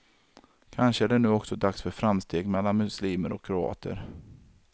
Kanske är det nu också dags för framsteg mellan muslimer och kroater.